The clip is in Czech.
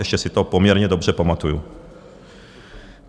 Ještě si to poměrně dobře pamatuji.